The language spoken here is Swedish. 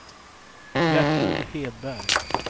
Gertrud Hedberg